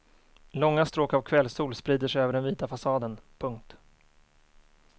Långa stråk av kvällssol sprider sig över den vita fasaden. punkt